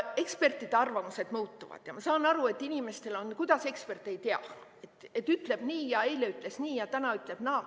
Ekspertide arvamused muutuvad ja ma saan aru, et inimesed küsivad, et kuidas ekspert ei tea, et eile ütles nii ja täna ütleb naa.